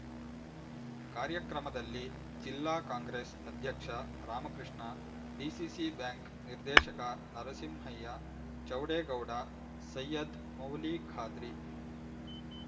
ಕಾರ್ಯಕ್ರಮದಲ್ಲಿ ಜಿಲ್ಲಾ ಕಾಂಗ್ರೆಸ್ ಅಧ್ಯಕ್ಷ ರಾಮಕೃಷ್ಣ ಡಿಸಿಸಿ ಬ್ಯಾಂಕ್ ನಿರ್ದೇಶಕ ನರಸಿಂಹಯ್ಯ ಚೌಡೇಗೌಡ ಸೈಯದ್ ಮೌಲಿಖಾದ್ರಿ